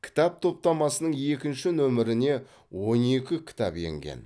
кітап топтамасының екінші нөміріне он екі кітап енген